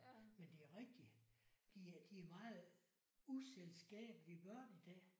Men det er rigtigt. De er de er meget uselskabelige børn i dag